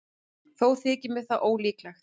Þó þykir mér það ólíklegt.